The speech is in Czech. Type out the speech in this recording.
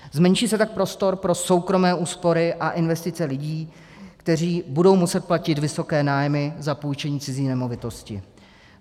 Zmenší se tak prostor pro soukromé úspory a investice lidí, kteří budou muset platit vysoké nájmy za půjčení cizí nemovitosti.